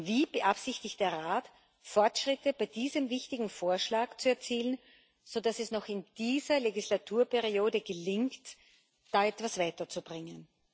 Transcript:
Wie beabsichtigt der Rat Fortschritte bei diesem wichtigen Vorschlag zu erzielen, sodass es noch in dieser Legislaturperiode gelingt, Weiteres weiterzubringen?